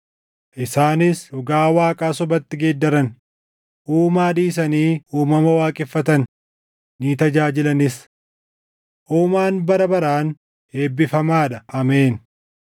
Isaanis dhugaa Waaqaa sobatti geeddaran; Uumaa dhiisanii uumama waaqeffatan; ni tajaajilanis. Uumaan bara baraan eebbifamaa dha. Ameen.